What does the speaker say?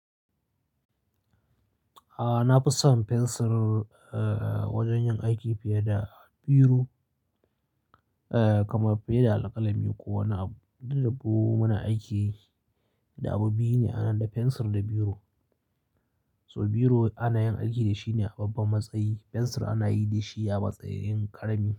A na fi son fensir, eh wajen yin aiki fiye da biro, eh kamar fiye da alkalami ko wani abu. Dubu muna aiki da abu biyu ne, ana da fensir da biro. So biro ana yin aiki da shi ne a babban matsayi, fensir ana yi da shi a matsayin karami.